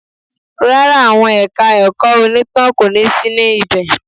Rárá, àwọn ẹ̀ka ẹ̀kọ́ onítàn kò ní sí ní ibẹ̀